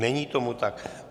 Není tomu tak.